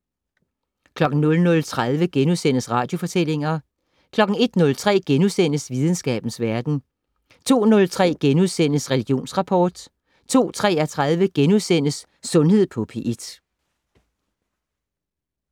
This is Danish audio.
00:30: Radiofortællinger * 01:03: Videnskabens Verden * 02:03: Religionsrapport * 02:33: Sundhed på P1 *